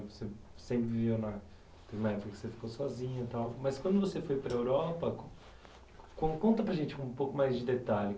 Você sempre viveu na... Na época que você ficou sozinha e tal, mas quando você foi para a Europa... Conta para a gente um pouco mais de detalhe.